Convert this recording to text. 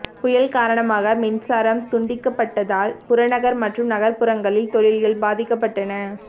புயல் காரணமாக மின்சாரம் துண்டிக்கப்பட்டதால் புறநகர் மற்றும் நகர்ப்புறங்களில் தொழில்கள் பாதிக்கப்பட்டன